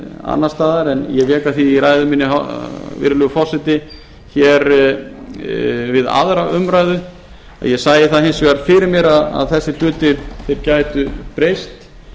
annars staðar en ég vék að því í ræðu minni virðulegi forseti við aðra umræðu að ég sæi það hins vegar fyrir mér að þessir hlutir gætu breyst